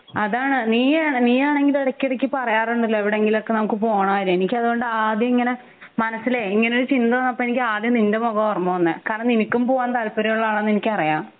അതാണ് നീയ് നിയാണെങ്കിൽ ഇടക്ക് ഇടക്ക് പറയാറുണ്ടല്ലോ എവിടെങ്കിലും ഒക്കെ നമുക്ക് പോണം എനിക്ക് അത് കൊണ്ട് ആദ്യം ഇങ്ങനെ മനസ്സിലെ ഇങ്ങനെ ഒരു ചിന്ത വന്നപ്പോ എനിക്ക് ആദ്യം നിൻ്റെ മുഖമാ ഓർമ വന്നേ കാരണം നിനക്കും പോവാൻ താല്പര്യം ഉള്ള ആളാണെന്ന് എനിക്ക് അറിയാം